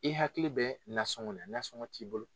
I hakili bɛ nasɔngɔ la nasɔngɔ t'i bolo.